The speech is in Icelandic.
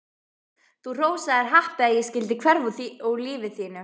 Þú hrósaðir happi að ég skyldi hverfa úr lífi þínu.